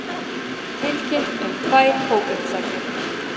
Tilkynnt um tvær hópuppsagnir